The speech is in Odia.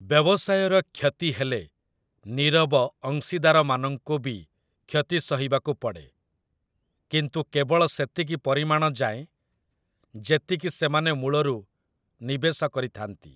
ବ୍ୟବସାୟର କ୍ଷତି ହେଲେ ନୀରବ ଅଂଶୀଦାରମାନଙ୍କୁ ବି କ୍ଷତି ସହିବାକୁ ପଡ଼େ, କିନ୍ତୁ କେବଳ ସେତିକି ପରିମାଣ ଯାଏଁ ଯେତିକି ସେମାନେ ମୂଳରୁ ନିବେଶ କରିଥାନ୍ତି ।